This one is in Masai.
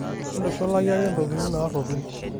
Mintushulaki ake ntokitin naaropil.